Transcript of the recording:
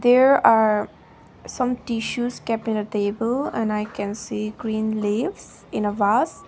there are some tissues kept in a table and i can see green leaves in a vase.